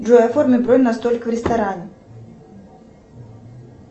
джой оформи бронь на столик в ресторане